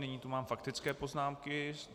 Nyní tu mám faktické poznámky.